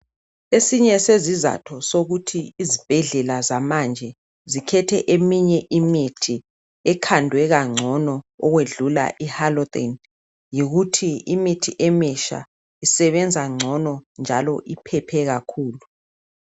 Esinye sezizatho sokuthi izibhedlela zamanje zikhethe eminye imithi ekhandwe kangcono ukwedlula ihalothane yikuthi imithi emitsha isebenza ngcono njalo iphephe kakhulu.